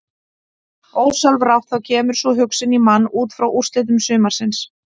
Ósjálfrátt þá kemur sú hugsun í mann útfrá úrslitum sumarsins.